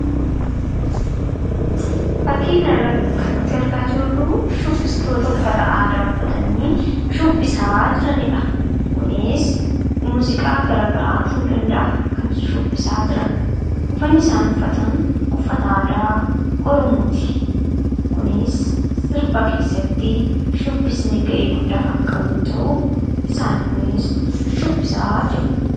Fakkii kanarratti kan nuti argaa jirru fakkii shubbistoota uffata aadaa uffatanii shubbisaa jiranidha. Kunis muuziqaa garaagaraa ta'uu danda'a. Uffanni isaan uffataa jiran uffata aadaa Oromooti. Kunis sirba keessatti shubbisni gahee guddaa kan qabu yoo ta'u isaan kunis shubbisaa jiru.